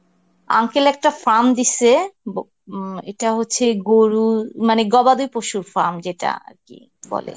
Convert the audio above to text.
uncle একটা farm দিসে ব~ উম এটা হচ্ছে গরু মানে গবাদি পশুর farm যেটা বলে.